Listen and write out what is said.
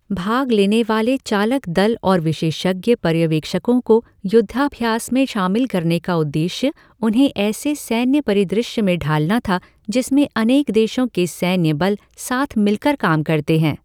भाग लेने वाले चालक दल और विशेषज्ञ पर्यवेक्षकों को युद्धाभ्यास में शामिल करने का उद्देश्य उन्हें ऐसे सैन्य परिदृश्य में ढालना था जिसमें अनेक देशों के सैन्य बल साथ मिलकर काम करते हैं।